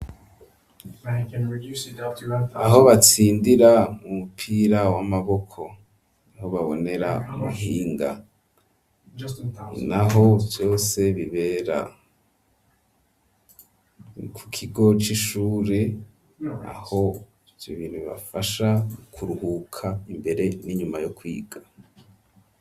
Aho batsindira umupira w'amaboko, aho babonera umuhinga naho Vyose bibera, ku kigo c''ishure aho ivyo bintu bibafasha ,kuruhuka ,n'imbere n'inyuma yo kwiga.